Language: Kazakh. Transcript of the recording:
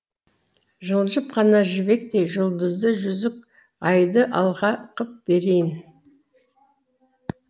жылжып қана жібектей жұлдызды жүзік айды алқа қып берейін